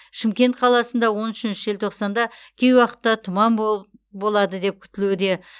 шымкент қаласында он үшінші желтоқсанда кей уақытта тұман болады деп күтілуде